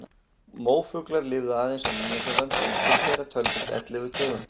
Móafuglar lifðu aðeins á Nýja-Sjálandi en til þeirra töldust ellefu tegundir.